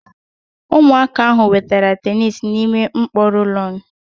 Ụmụaka ahụ wetara tenisi n'ime mkpọ rólónụ̀